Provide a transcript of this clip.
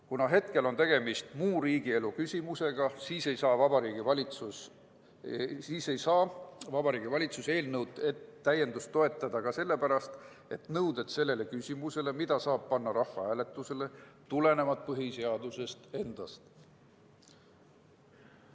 Kuna hetkel on tegemist muu riigielu küsimusega, siis ei saa Vabariigi Valitsus eelnõu täiendust toetada esiteks sellepärast, et nõuded sellele küsimusele, mida saab panna rahvahääletusele, tulenevalt põhiseadusest endast.